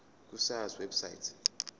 ku sars website